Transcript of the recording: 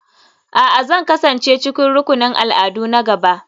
A'a, Zan kasance cikin rukunin al'adu na gaba.